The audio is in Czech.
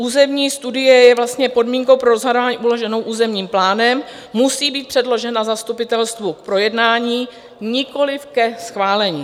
Územní studie je vlastně podmínkou pro rozhodování uloženou územním plánem, musí být předložena zastupitelstvu k projednání, nikoliv ke schválení.